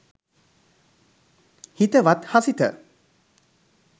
හිතවත් හසිත